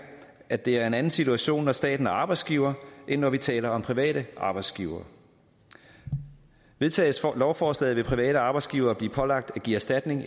at det er en anden situation når staten er arbejdsgiver end når vi taler om private arbejdsgivere vedtages lovforslaget vil private arbejdsgivere blive pålagt at give erstatning